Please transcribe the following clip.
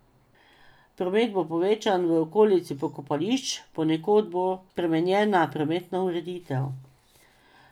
Promet bo povečan v okolici pokopališč, ponekod bo spremenjena prometna ureditev.